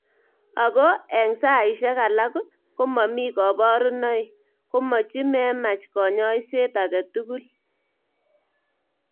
Ako eng sai shek alak ko mamii kabarunoik ,komichi memach kanyaishet ake tugul.